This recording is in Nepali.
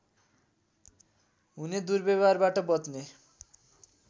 हुने दुर्व्यवहारबाट बच्ने